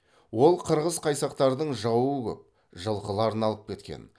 ол қырғыз қайсақтардың жауы көп жылқыларын алып кеткен